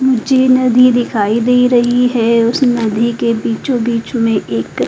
मुझे नदी दिखाई दे रही है उस नदी के बीचो बीच में एक --